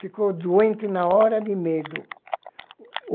Ficou doente na hora de medo.